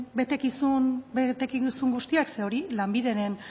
betekizun guztiak ze hori lanbideren